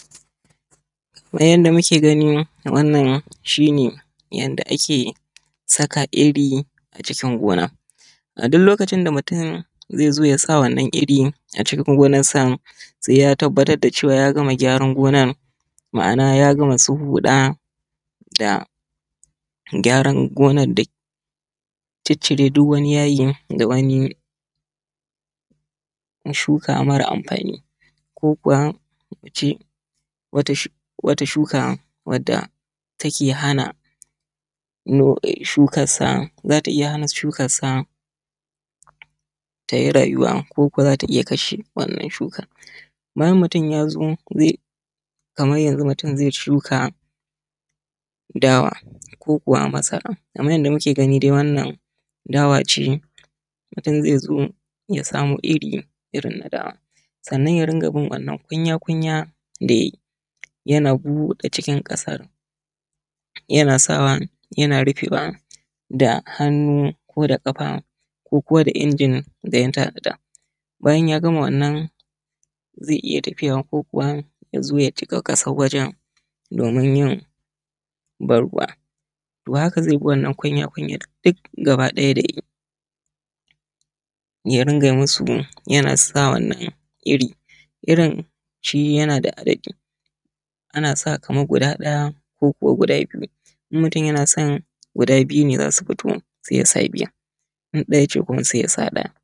Nan yadda muke gani shi ne yanda ake saka iri a cikin gona. A duk lokacin da mutum ze zo ya sa wannan iri a cikin gonansa se ya tabbatar da cewa ya gama gyaran gonan ma’ana ya gama su huɗa da gyaran gonan da ciccire duk wani yayi da wani shuka mara amfani ko kuma mu ce wata shuka wadda take hana shukarsa, za ta iya hana shukarsa tayi rayuwa koko za ta iya kashe wannan shukar bayan mutum ya zo ze kamar yanzu mutu ze shuka dawa ko kuwa masara kamar yadda muke gani. Wa nnan dawace mutum zezo ya samu irir irin na dawa sanan ya rinƙa bin wannan kunya kunya da ya yi yana buɗe cikin ƙasa yana sawa yana rufewa da hannu ko da ƙafa ko kuwa da injin da ya bayan ya gama wannan ze iya tafiya ko kuwa yazo ya cika wanan kasan wajen domin yin banruwa ta haka zebi wannan kunya kunyan duk gaba ɗaya yabi ya rinƙa musu yanasa wannan iri irin shi yana da adadi anasa gud ɗaya koko biyu in mutum yanason guda biyune zasu fto se yasa biyun in ɗaya yake so se musa ɗaya.